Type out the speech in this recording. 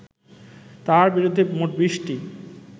তাঁর বিরুদ্ধে মোট বিশটি